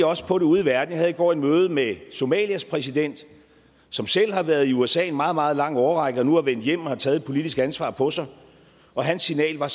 også på det ude i verden jeg havde i går et møde med somalias præsident som selv har været i usa en meget meget lang årrække og nu er vendt hjem og har taget et politisk ansvar på sig og hans signal var